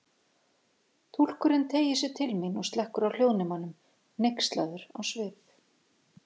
Túlkurinn teygir sig til mín og slekkur á hljóðnemanum, hneykslaður á svip.